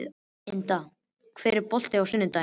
Inda, er bolti á sunnudaginn?